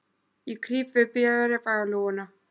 Ég krýp við bréfalúguna.